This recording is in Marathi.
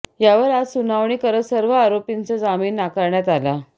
यावर आज सुनावणी करत सर्व आरोपींचा जामीन नाकारण्यात आला